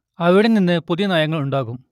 അവിടെ നിന്ന് പുതിയ നയങ്ങൾ ഉണ്ടാകും